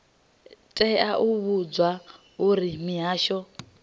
tea u vhudzwa uri mihasho